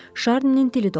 Şarninin dili dolaşdı.